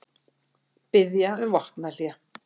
Biðja um vopnahlé